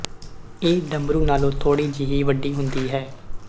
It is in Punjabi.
ਇਹ ਡਮਰੂ ਨਾਲੋਂ ਥੋੜ੍ਹੀ ਜਿਹੀ ਵੱਡੀ ਹੁੰਦੀ ਹੈ